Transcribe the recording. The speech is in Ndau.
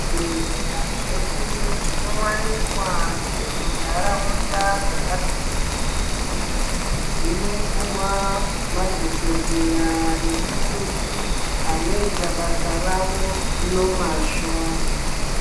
Zvibhedhlera zvedu zvinowanikwa zviri mundaraunda zvakasiyana-siyana zvinopuwa madhokodheya nemakoti anoita basa rawo nemazvo.